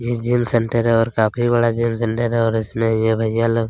ये gym centre है और काफी बड़ा जिम सेंटर है और इसमें ये भईयां लोग--